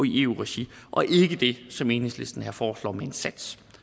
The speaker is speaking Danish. eu regi og ikke det som enhedslisten her foreslår med en sats